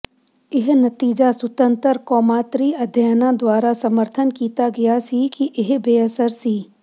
ਇਹ ਨਤੀਜਾ ਸੁਤੰਤਰ ਕੌਮਾਂਤਰੀ ਅਧਿਐਨਾਂ ਦੁਆਰਾ ਸਮਰਥਨ ਕੀਤਾ ਗਿਆ ਸੀ ਕਿ ਇਹ ਬੇਅਸਰ ਸੀ